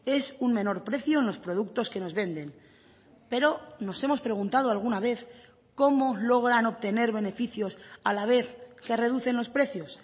es un menor precio en los productos que nos venden pero nos hemos preguntado alguna vez cómo logran obtener beneficios a la vez que reducen los precios